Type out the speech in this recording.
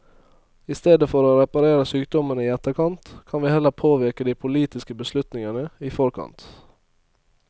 I stedet for å reparere sykdommene i etterkant, kan vi heller påvirke de politiske beslutningene i forkant.